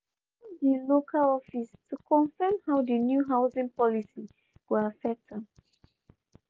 she phone dil local office to confirm how di new housing policy go affect am.